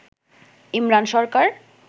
Imran Sarkar